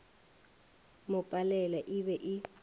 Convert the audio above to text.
mo palela e be e